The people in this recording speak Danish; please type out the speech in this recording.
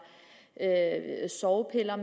sovepiller